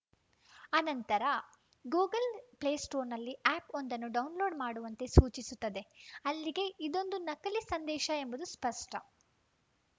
ಅನಂತರ ಗೂಗಲ್‌ ಪ್ಲೇಸ್ಟೋರ್‌ನಲ್ಲಿ ಆ್ಯಪ್‌ವೊಂದನ್ನು ಡೌನ್‌ಲೋಡ್‌ ಮಾಡುವಂತೆ ಸೂಚಿಸುತ್ತದೆ ಅಲ್ಲಿಗೆ ಇದೊಂದು ನಕಲಿ ಸಂದೇಶ ಎಂಬುದು ಸ್ಪಷ್ಟ